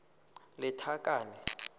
lethakane